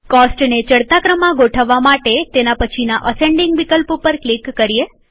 કોસ્ટને ચડતા ક્રમમાં ગોઠવવા માટેતેના પછીના અસેન્ડીંગ વિકલ્પ ઉપર ક્લિક કરીએ